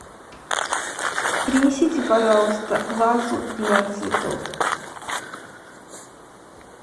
принесите пожалуйста вазу для цветов